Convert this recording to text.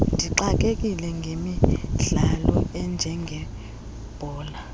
ndixakekile ngemidlalo enjengebhola